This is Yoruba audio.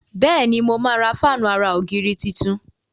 Béèni ṣe mo má rà Fáànù àrà ògiri títún.